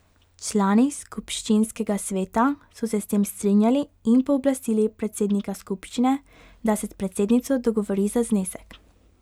Člani skupščinskega sveta so se s tem strinjali in pooblastili predsednika skupščine, da se s predsednico dogovori za znesek.